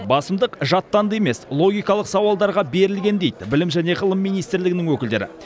басымдық жаттанды емес логикалық сауалдарға берілген дейді білім және ғылым министрлігінің өкілдері